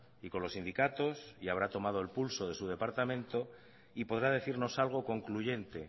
y con los sindicatos y habrá tomado el pulso de su departamento y podrá decirnos algo concluyente